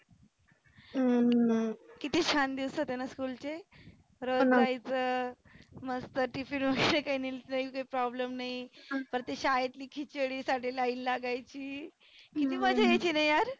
हम्म किती छान दिवस होतेना school चे रोज जायचं मस्त tifine काही नेलं नाही तर problem नाही. परत ते शाळेतली खिचडी साठी line लागायची. हम्म किती मजा यायचीना यार.